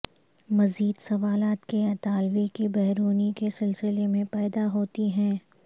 مزید سوالات کے اطالوی کی بیرونی کے سلسلے میں پیدا ہوتی ہیں